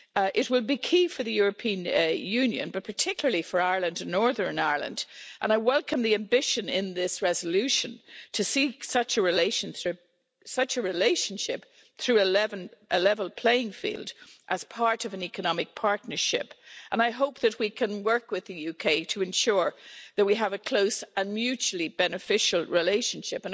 It will be key for the European Union, but particularly for Ireland and Northern Ireland and I welcome the ambition in this resolution to see such a relationship through a level playing field as part of an economic partnership and I hope that we can work with the UK, to ensure that we have a close and mutually beneficial relationship.